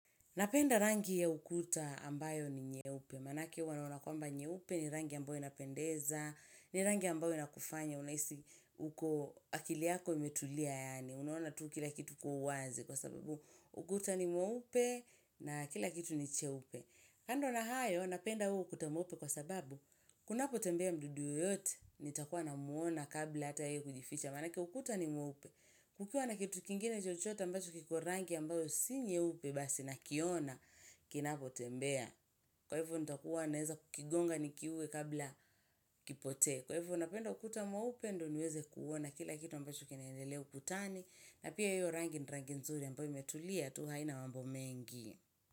Napenda rangi ya ukuta ambayo ni nyeupe. Manake huwa naona kwamba nyeupe ni rangi ambayo inapendeza, ni rangi ambayo inakufanya, unahisi uko akili yako imetulia yaani, unaona tu kila kitu kwa uwazi kwa sababu ukuta ni mweupe na kila kitu ni cheupe. Kando na hayo, napenda huo ukuta mweupe kwa sababu, kunapotembea mdudu yoyote, nitakuwa namwona kabla hata yeye kujificha. Manake ukuta ni mweupe, kukiwa na kitu kingine chochote ambacho kiko rangi ambayo si nyeupe basi, nakiona, kinapotembea. Kwaivo, nitakuwa naeza kukigonga nikiue kabla kipotee. Kwaivo, napenda ukuta mweupe ndo, niweze kuona kila kitu ambacho kinaendelea ukutani. Na pia hiyo rangi, ni rangi nzuri, ambayo imetulia, tu haina mambo mengi.